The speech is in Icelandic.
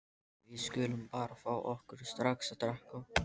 Við skulum bara fá okkur strax að drekka.